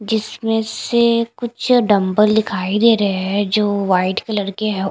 जिसमें से कुछ डंबल दिखाई दे रहे हैं जो वाइट कलर के है।